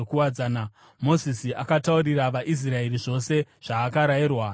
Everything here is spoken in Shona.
Mozisi akataurira vaIsraeri zvose zvaakarayirwa naJehovha.